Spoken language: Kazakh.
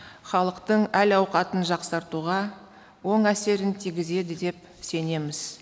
халықтың әл ауқатын жақсартуға оң әсерін тигізеді деп сенеміз